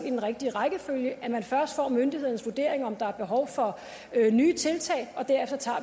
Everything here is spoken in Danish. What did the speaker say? i den rigtige rækkefølge altså at man først får myndighedernes vurdering af om der er behov for nye tiltag og derefter tager